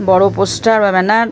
বড় পোস্টার বা ব্যানার --